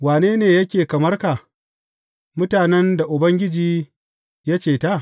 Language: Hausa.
Wane ne yake kamar ka, mutanen da Ubangiji ya ceta?